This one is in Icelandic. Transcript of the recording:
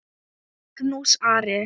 Magnús Ari.